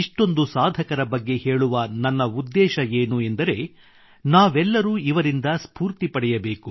ಇಷ್ಟೊಂದು ಸಾಧಕರ ಬಗ್ಗೆ ಹೇಳುವ ನನ್ನ ಉದ್ದೇಶ ಏನು ಎಂದರೆ ನಾವೆಲ್ಲರೂ ಇವರಿಂದ ಸ್ಪೂರ್ತಿ ಪಡೆಯಬೇಕು